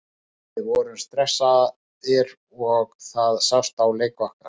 Við vorum stressaðir og það sást á leik okkar.